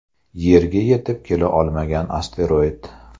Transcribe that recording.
Yerga yetib kela olmagan asteroid.